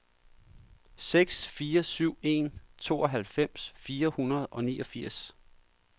seks fire syv en tooghalvfems fire hundrede og niogfirs